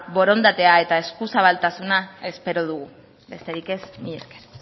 borondatea eta eskuzabaltasuna espero dugu besterik ez mila esker